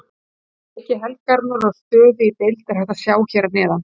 Leiki helgarinnar og stöðu í deild er hægt að sjá hér að neðan.